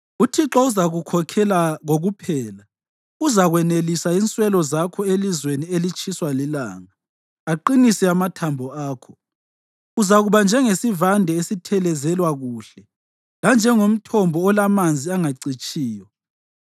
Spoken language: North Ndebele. UThixo uzakukhokhela kokuphela; uzakwanelisa inswelo zakho elizweni elitshiswa lilanga, aqinise amathambo akho. Uzakuba njengesivande esithelezelwa kuhle, lanjengomthombo olamanzi angacitshiyo.